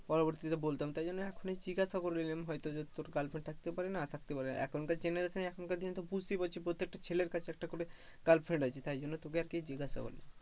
পরবর্তী তে বলতাম তাই জন্যে এখুনি জিজ্ঞাসা করে নিলাম আরকি,